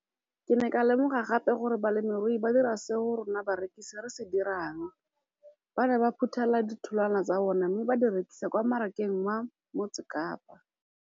Ke ne ka lemoga gape gore balemirui ba dira seo rona barekisi re se dirang, ba ne ba phuthela ditholwana tsa bona mme ba di rekisa kwa marakeng wa Motsekapa.